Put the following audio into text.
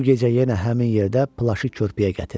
Bu gecə yenə həmin yerdə plaşı körpüyə gətir.